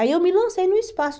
Aí eu me lancei no espaço.